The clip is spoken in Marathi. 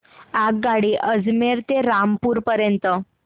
आगगाडी अजमेर ते रामपूर पर्यंत